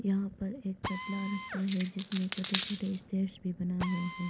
यहां पर एक पतला रस्ता है जिसमें छोटे छोटे स्टेयर्स भी बना हुआ है।